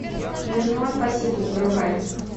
юнион пасифик врубай